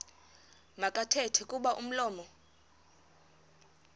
makathethe kuba umlomo